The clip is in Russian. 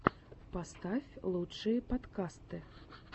поставь лучшие подкасты